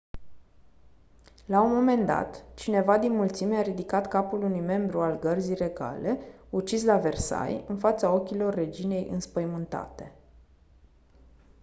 la un moment dat cineva din mulțime a ridicat capul unui membru al gărzii regale ucis la versailles în fața ochilor reginei înspăimântate